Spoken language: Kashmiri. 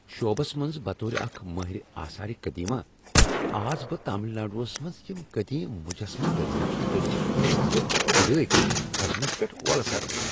شعبس منٛز بطور اکھ مٲہِرِ آثار قدیمہ ، آس بہٕ تامل ناڈوس منٛز یم قدیم مٗجسمہٕ دریافت کٔرتھ تم کھُدٲے کرِتھ کڈنس پیٹھ وۄلسنس ۔